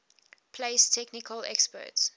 place technical experts